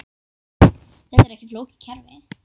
Þetta er ekki flókið kerfi.